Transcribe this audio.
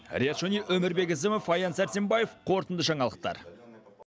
риат шони өмірбек ізімов аян сәрсенбаев қорытынды жаңалықтар